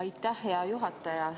Aitäh, hea juhataja!